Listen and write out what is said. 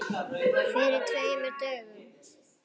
Fyrir tveimur dögum?